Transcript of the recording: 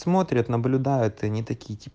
смотрят наблюдает анита